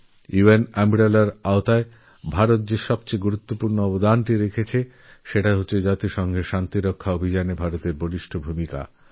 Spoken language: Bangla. ইউ এন আমব্রেলার ক্ষেত্রে ভারত যে এক সবথেকে গুরুত্বপূর্ণঅবদান রেখেছে তা হল রাষ্ট্রসঙ্ঘের শান্তিরক্ষা প্রচেষ্টায় ভারতের ভূমিকা